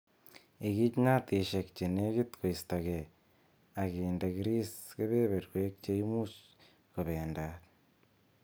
Ikich natishek chenekit koistogee akinde kris kebeberwek che imuch kobendat.